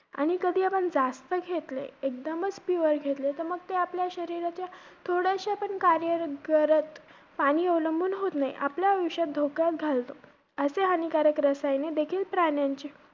आणि कधी आपण जास्त घेतले, एकदमचं pure घेतले, तर मग ते आपल्या शरीराचे थोड्याश्या पण कार्यरत~ घरत~ पाणी अवलंबून होत नाही. आपले आयुष्य धोक्यात घालतो.